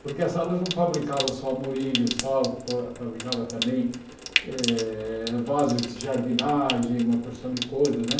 Porque as salas não fabricavam só moringas e tal, fa fabricavam também eh vasos de jardinagem, uma porção de coisas, né?